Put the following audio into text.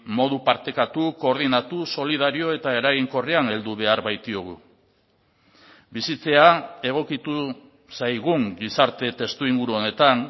modu partekatu koordinatu solidario eta eraginkorrean heldu behar baitiogu bizitzea egokitu zaigun gizarte testuinguru honetan